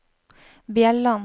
Bjelland